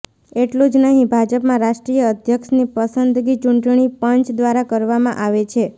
એટલું જ નહીં ભાજપમાં રાષ્ટ્રીય અધ્યક્ષની પસંદગી ચૂંટણી પંચ દ્વારા કરવામાં આવે છે